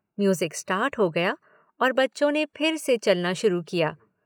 Music start हो गया और बच्चों ने फिर से चलना शुरू किया।